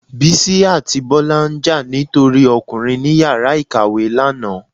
Bisí atí Bola njà ni tori Ọkùnrin ni ìyára ìkàwé lana